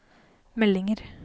meldinger